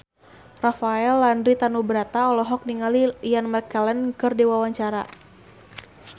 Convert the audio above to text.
Rafael Landry Tanubrata olohok ningali Ian McKellen keur diwawancara